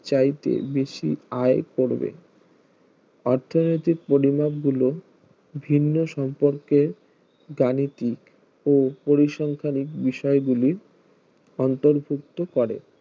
চাইতে বেশি আয় করবে অর্থনৈতিক পরিম, যান গুলো ভিন্ন সম্পর্কের গাণিতিক ও পরিসংখ্যা বিষয়গুলি অন্তর্ভুক্ত করে